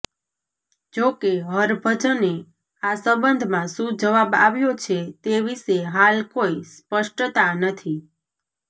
જોકે હરભજને આ સંબંધમાં શું જવાબ આવ્યો છે તે વિશે હાલ કોઈ સ્પષ્ટતા નથી